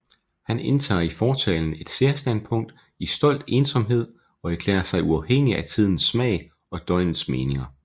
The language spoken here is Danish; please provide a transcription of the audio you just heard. Han indtager i Fortalen et Særstandpunkt i stolt Ensomhed og erklærer sig uafhængig af Tidens Smag og Døgnets Meninger